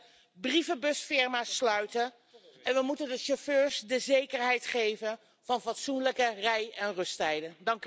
We moeten de brievenbusfirma's sluiten en we moeten de chauffeurs de zekerheid geven van fatsoenlijke rij en rusttijden.